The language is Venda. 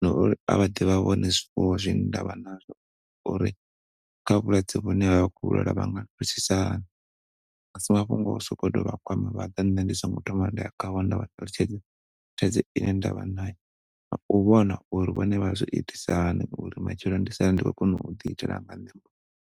na uri a vhaḓe vha vhone zwifuwo zwine nda vha nazwo uri kha vhulwadze vhune ha thusisa hani. Asi mafhungo o sotou vhakwama vhaḓa ṋne ndi songo thoma nda ya kha vho nda vha ṱalutshedzisa thaidzo ine nda vha na yo, na u vhona uri vhone vha zwi itisa hani uri matshelo ndi sale ndi khona u ḓi itela nga ṋne muṋe.